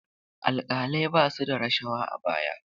Alƙalai ba su da rashawa a baya.